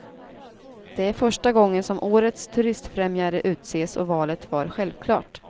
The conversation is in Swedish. Det är första gången som årets turistfrämjare utses och valet var självklart.